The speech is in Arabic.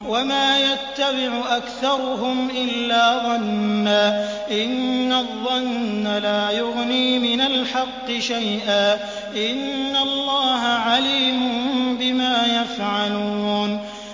وَمَا يَتَّبِعُ أَكْثَرُهُمْ إِلَّا ظَنًّا ۚ إِنَّ الظَّنَّ لَا يُغْنِي مِنَ الْحَقِّ شَيْئًا ۚ إِنَّ اللَّهَ عَلِيمٌ بِمَا يَفْعَلُونَ